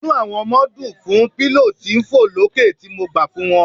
Inú àwọn ọmọ dùn fún pillow tí ń fọ̀ lókè tí mo gbà fún wọn.